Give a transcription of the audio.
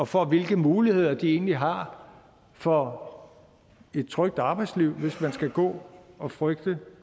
for hvilke muligheder de egentlig har for et trygt arbejdsliv hvis man skal gå og frygte